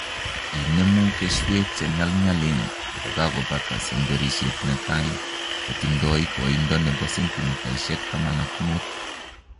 Inemu keswek che nyalnyalen kokebata semberisiet netai kotindoi koindo nebo sentimitaishek taman ak muut